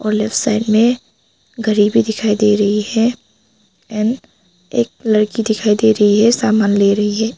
Left side में घरी भी दिखाई दे रही है एन एक लड़की दिखाई दे रही है सामान ले रही है।